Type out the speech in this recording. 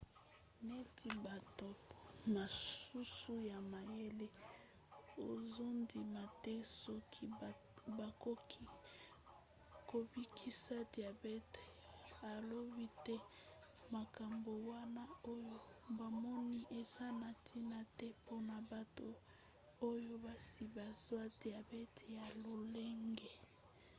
neti bato mosusu ya mayele azondima te soki bakoki kobikisa diabte alobi ete makambo wana oyo bamoni eza na ntina te mpona bato oyo basi bazwa diabete ya lolenge 1